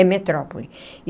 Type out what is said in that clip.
É metrópole.